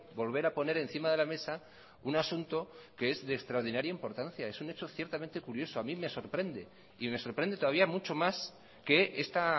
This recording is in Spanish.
volver a poner encima de la mesa un asunto que es de extraordinaria importancia es un hecho ciertamente curioso a mí me sorprende y me sorprende todavía mucho más que esta